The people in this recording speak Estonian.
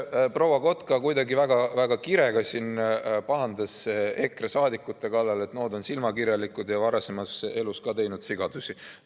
Proua Kotka kuidagi väga kirega siin pahandas EKRE saadikutega, et nood on silmakirjalikud ja varasemas elus ka teinud sigadusi.